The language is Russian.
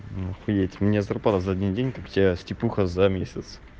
охуеть у меня зарплата за один день как у тебя степуха за месяц